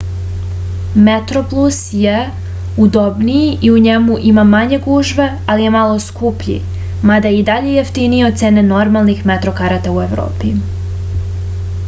metroplus je udobniji i u njemu ima manje gužve ali je malo skuplji mada je i dalje jeftiniji od cene normalnih metro karata u evropi